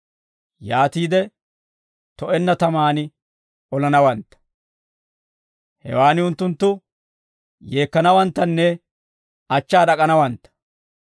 Yaatiide to'enna tamaan olanawantta; hewaan unttunttu yeekkanawanttanne achchaa d'ak'anawantta.